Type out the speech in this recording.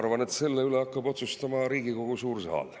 Ma arvan, et selle üle hakkab otsustama Riigikogu suur saal.